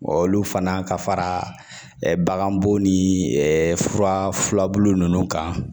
Wa olu fana ka fara bagan bon ni furabulu ninnu kan